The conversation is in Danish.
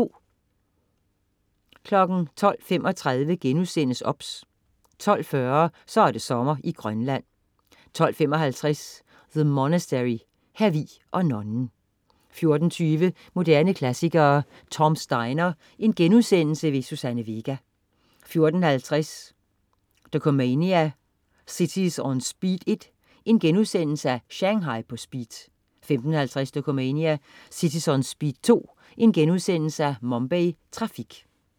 12.35 OBS* 12.40 Så er det sommer i Grønland 12.55 The Monastery hr. Vig og nonnen 14.20 Moderne klassikere: Tom's Diner. Suzanne Vega* 14.50 Dokumania: Cities On Speed 1. Shanghai på speed* 15.50 Dokumania: Cities On Speed 2. Mumbai Trafik*